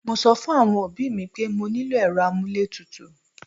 Mo sọ fún àwọn òbí mi pé mo nílò èrò amuletutu